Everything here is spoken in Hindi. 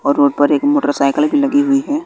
और रोड पर एक मोटरसाइकिल भी लगी हुई है।